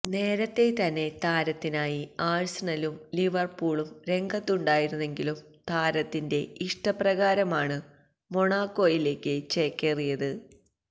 നേരത്തെതന്നെ താരത്തിനായി ആഴ്സണലും ലിവർപൂളും രംഗത്തുണ്ടായിരുനെങ്കിലും താരത്തിന്റെ ഇഷ്ടപ്രകാരമാണ് മൊണാക്കോയിലേക്ക് ചേക്കേറിയത്